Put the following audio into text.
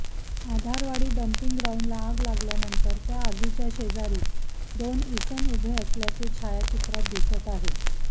Adharwadi dumping ग्राऊंडला आग लागल्यानंतर त्या आगीच्या शेजारी दोन इसम उभे असल्याचे छायाचित्रात दिसत आहे